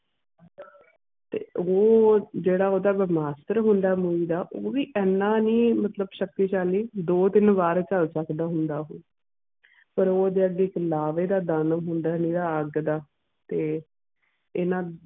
ਤੇ ਉਹ ਜਿਹੜਾ ਓਹਦਾ ਬ੍ਰਹਮਸਤਰ ਹੁੰਦਾ ਆ ਦਾ, ਉਹ ਵੀ ਇਨ੍ਹਾਂ ਨੀ ਮਤਲਬ ਸ਼ਕਤੀਸ਼ਾਲੀ, ਦੋ ਤਿੰਨ ਵਾਰ ਚੱਲ ਸਕਦਾ ਹੁੰਦਾ ਐ ਉਹ। ਪਰ ਓਹਦੇ ਅੱਗੇ ਇੱਕ ਲਾਵੇ ਦਾ ਦਾਨਵ ਹੁੰਦਾ ਆ ਨਿਰਾ ਅੱਗ ਦਾ ਤੇ ਇਨ੍ਹਾਂ ਦੇ